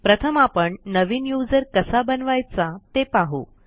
प्रथम आपण नवीन यूझर कसा बनवायचा ते पाहू